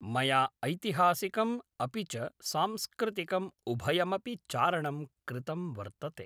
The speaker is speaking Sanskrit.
मया ऐतिहासिकम् अपि च सांस्कृतिकम् उभयमपि चारणं कृतं वर्तते